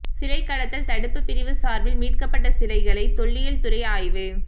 சிலை கடத்தல் தடுப்பு பிரிவு சார்பில் மீட்கப்பட்ட சிலைகளை தொல்லியல்துறை ஆய்வு